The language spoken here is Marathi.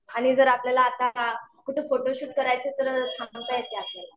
आणि जर आपल्याला आता कुठं फोटोशूट करायचं असेल तर थांबवता येतं. आपल्याला